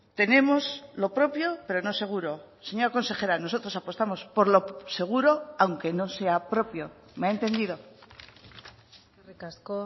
tenemos lo propio pero no seguro señora consejera nosotros apostamos por lo seguro aunque no sea propio me ha entendido eskerrik asko